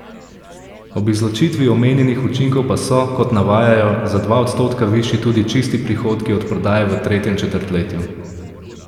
Ob izločitvi omenjenih učinkov pa so, kot navajajo, za dva odstotka višji tudi čisti prihodki od prodaje v tretjem četrtletju.